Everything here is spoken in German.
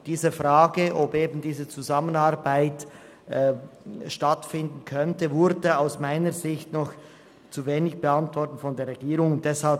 Die Frage, ob diese Zusammenarbeit stattfinden könnte, wurde aus meiner Sicht noch zu wenig von der Regierung beantwortet.